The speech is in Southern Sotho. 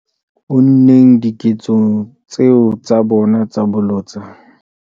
unneng diketsong tseo tsa bona tsa bolotsana.